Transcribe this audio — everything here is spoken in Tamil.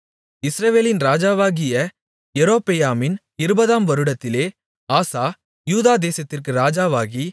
இஸ்ரவேலின் ராஜாவாகிய யெரொபெயாமின் 20 ஆம் வருடத்திலே ஆசா யூதா தேசத்திற்கு ராஜாவாகி